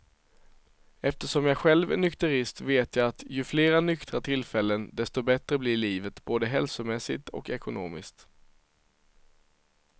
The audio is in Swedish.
Eftersom jag själv är nykterist vet att jag att ju flera nyktra tillfällen desto bättre blir livet, både hälsomässigt och ekonomiskt.